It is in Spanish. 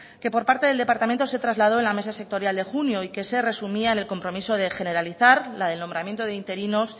que por parte del departamento se trasladó en la mesa sectorial de junio y que se resumía en el compromiso de generalizar la del nombramiento de interinos